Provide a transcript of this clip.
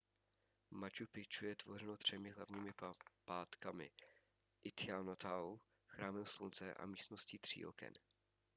machu picchu je tvořeno třemi hlavními patkámi intihuatanou chrámem slunce a místností tří oken